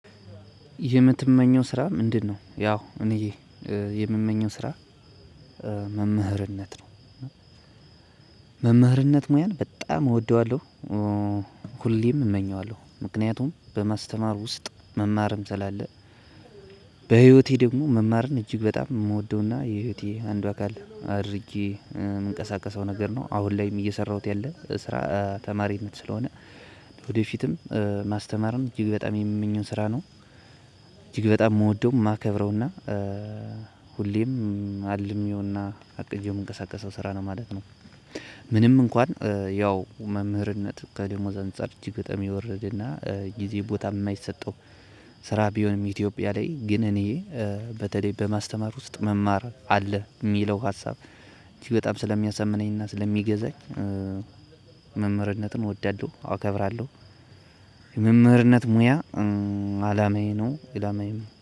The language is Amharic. የምትመኘው ስራ ምንድነው? ያው እኔ የምመኘው ስራ መምህርነት ነው። መምህርነት ሙያን በጣም እወደዋለሁ ሁሌም እመኘዋለሁ ምክንያቱም በማስተማር ውስጥ መማርም ስላለ። በህይወቴ ደግሞ መማርን እጅግ በጣም የምወደውና የህይወቴ አንዷ አካል አድርጌ የምንቀሳቀሰው ነገር ነው አሁን ላይም እየሰራሁት ያለ ስራ ተማሪነት ስለሆነ። ወደ ፊትም ማስተማርም እጅግ በጣም የምመኘው ስራ ነው። እጅግ በጣም የምወደው የማከብረውና ሄሌም አልሜውና አቅጄው የምንቀሳቀሰው ስራ ነው ማለት ነው። ምንም እንኳን ያው መምህርነት ከደሞዝ አንፃር እጅግ በጣም የወረደና ጊዜ ቦታም የማይሰጠው ስራ ቢሆንም ኢትዮጵያ ላይ ግን እኔ በተለይ በማስተማር ውስጥ መማር አለ የሚለው ሀሳብ። እቺ በጣም ስለሚያሰምነኝና ስለሚገዛኝ መምህርነትን እወዳለሁ አከብራለሁ። መምህርነት ሙያ አላማዬ ነው ኢላማዬ